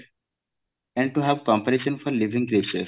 and to have cooperation for living process